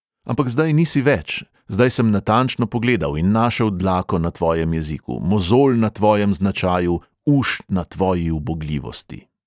Ampak zdaj nisi več, zdaj sem natančno pogledal in našel dlako na tvojem jeziku, mozolj na tvojem značaju, uš na tvoji ubogljivosti.